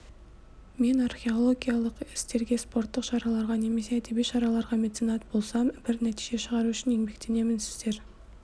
мен археологиялық істерге спорттық шараларға немесе әдеби шаралаға меценат болсам бір нәтиже шығару үшін еңбектенемін сіздер